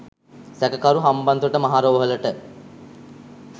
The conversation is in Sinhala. සැකකරු හම්බන්තොට මහ රෝහලට